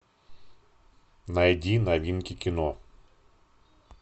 найди новинки кино